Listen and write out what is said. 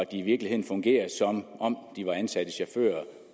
i virkeligheden fungerer som om de var ansatte chauffører